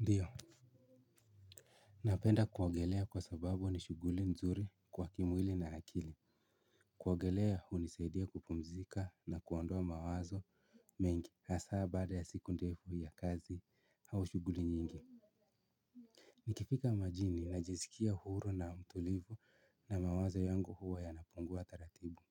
Ndiyo napenda kuogelea kwa sababu ni shughuli nzuri kwa kimwili na akili kuogelea hunisaidia kupumzika na kuondoa mawazo mengi hasa baada ya siku ndefu ya kazi au shughuli nyingi nikifika majini najisikia huru na mtulivu na mawazo yangu huwa yanapungua taratibu